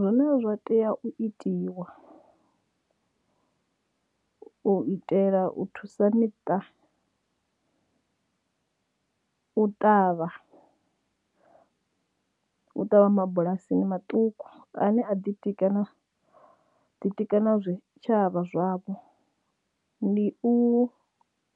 Zwine zwa tea u itiwa u itela u thusa miṱa u ṱavha u ṱavha mabulasi maṱuku ane a ḓitike ḓitika tshavha zwavho ndi u